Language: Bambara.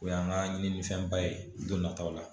O y'an ka ɲininifɛnba ye don nataw la